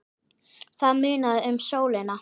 Það munaði um sólina.